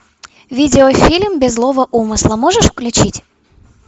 видеофильм без злого умысла можешь включить